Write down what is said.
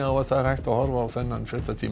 að það er hægt að horfa á þennan fréttatíma